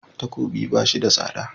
Takobi ba shi da tsada.